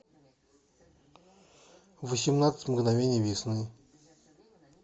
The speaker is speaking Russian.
восемнадцать мгновений весны